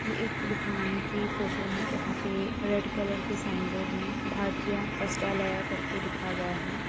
ये एक दुकान की फोटो है जहाँ पे रेड कलर के साइन बोर्ड में भारतीय वस्त्रलाया करके लिखा गया है।